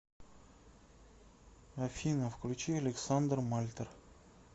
афина включи александр мальтер